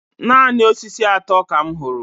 Naanị osisi atọ ka m hụrụ.